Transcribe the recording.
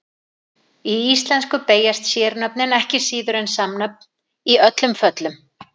Í íslensku beygjast sérnöfn ekki síður en samnöfn í öllum föllum.